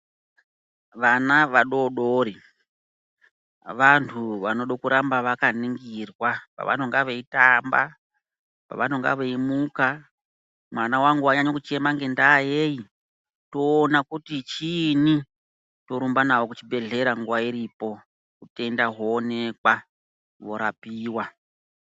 Vana vadodori vantu vanoda kuramba vakaningirwa pavanenge veitamba pavanenge veimuka mwana wangu wanyanya kuchema nenda yeyi toona kuti chini torumba navo kuchibhedhlera nguva iripo hutenda hwoonekwa hworapiwa.